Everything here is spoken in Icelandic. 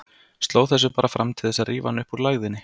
Sló þessu bara fram til þess að rífa hann upp úr lægðinni.